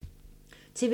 TV 2